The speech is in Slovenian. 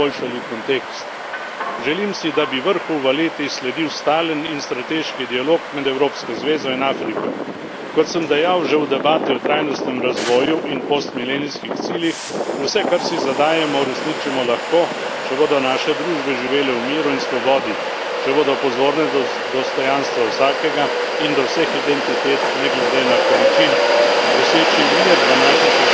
Želim si, da bi vrhu v Valetti sledil stalen in strateški dialog med evropsko zvezo in Afriko. Kot sem dejal že v debati o trajnostnem razvoju in postmilenijskih ciljih, vse, kar si zadanemo, uresničimo lahko, če bodo naše družbe živele v miru in svobodi, če bodo pozorne do dostojanstva vsakega in do vseh identitet ne glede na količino. Doseči mir v naši soseščini je prva prioriteta.